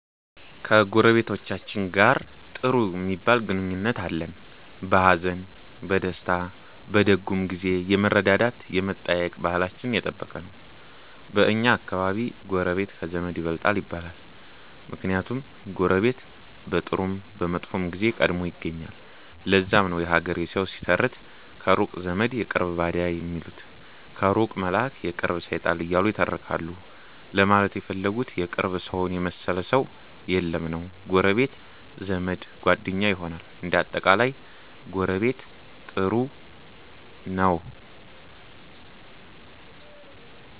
ከጎረቤቶቻችን ጋር ጥሩ ሚባል ግንኙነት አለን። በሀዘን፣ በደስታ፣ በደጉም ጊዜ የመረዳዳት የመጠያየቅ ባህላችን የጠበቀ ነው። በኛ አከባቢ ጎረቤት ከዘመድ ይበልጣል ይባላል። ምክንያቱም ጎረቤት በጥሩም በመጥፎም ጊዜ ቀድሞ ይገኛል። ለዛም ነው የሀገሬ ሠዉ ሲተርት ከሩቅ ዘመድ የቅርብ ባዳ ሚሉት ከሩቅ መላእክ የቅርብ ሠይጣን እያሉ ይተረካሉ ለማለት የፈለጉት የቅርብ ሠውን የመሠለ ሠው የለም ነዉ። ጎረቤት ዘመድ፣ ጓደኛ ይሆናል። እንደ አጠቃላይ ጎረቤት ጥሩ ነው።